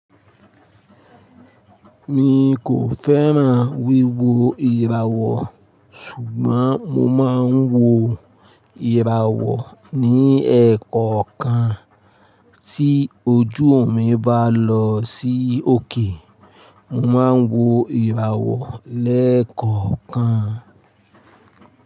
Mi kò fẹ́ràn wíwo ìràwọ̀, ṣùgbọ́n mo máa ń wo ìràwọ̀ ní ẹ́ẹ̀kankan. Tí ojú mi bá lọ sí òkè, mo máa ń wo ìràwọ̀ lẹ́ẹ̀kọ̀kan.